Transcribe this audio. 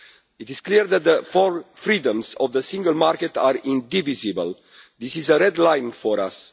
It is clear that the four freedoms of the single market are indivisible. This is a red line for us.